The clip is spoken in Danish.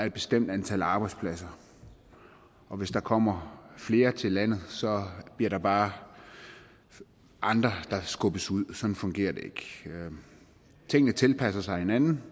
et bestemt antal arbejdspladser og hvis der kommer flere til landet bliver der bare andre der skubbes ud sådan fungerer det ikke tingene tilpasser sig hinanden